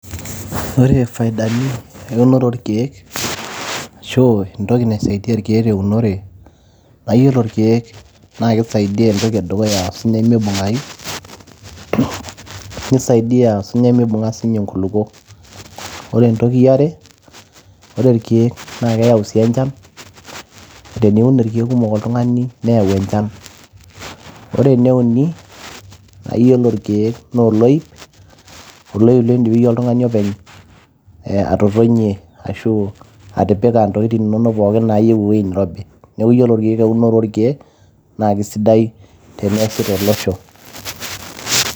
ore faidani eunore oorikiek ashu entoki naisaidia irkiek teunore, naa iyiolo irkiek kisaidia entoki edukuya osunyai mibungayu, nisaidia osinyai mibunga sinye nkulupuok. ore eniare , oore irkieek naa keyau sii enchan, teniun irkiek kumok oltungani neyau enchan . ore ene uni naa iyiolo irkieek noo oloip ,oloip lindip iyie oltungani openy atotonie ashu atipika ntokini inonok nayieu ewuei nirobi. niaku ore ikieek ,eunore orkiek teneasi tolosho.